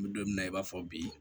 N bɛ don min na i b'a fɔ bi